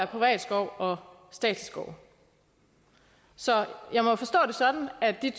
privat skov og statsskov så jeg må forstå det sådan at de